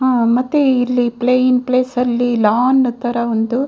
ಆ ಮತ್ತೆ ಇಲ್ಲಿ ಪ್ಲೈನ್‌ ಪ್ಲೇಸ್‌ ಅಲ್ಲಿ ಲಾನ್‌ ತರ ಒಂದು.